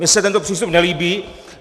Mně se tento přístup nelíbí.